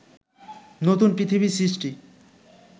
নতুন পৃথিবীর সৃষ্টি